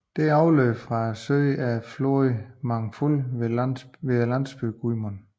Det afløb fra søen er floden Mangfall ved landsbyen Gmund